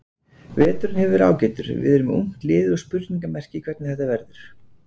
Veturinn hefur verið ágætur, við erum með ungt lið og spurningamerki hvernig þetta verður.